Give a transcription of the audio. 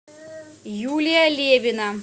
юлия левина